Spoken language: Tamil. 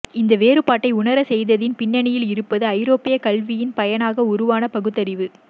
இந்த வேறுபாட்டை உணரச்செய்ததின் பின்னணியில் இருந்தது ஐரோப்பியக் கல்வியின் பயனாக உருவான பகுத்தறிவு